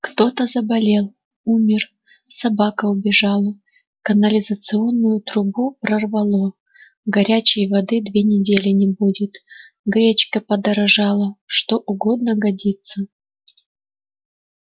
кто-то заболел умер собака убежала канализационную трубу прорвало горячей воды две недели не будет гречка подорожала что угодно годится